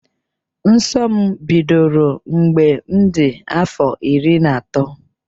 Nsọ m bidoro mgbe m dị afọ iri na otu.